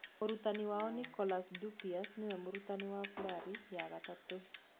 Mũrutani wao Nicolas Dupuis nĩwe mũrutani wa Fleury ya gatatũ.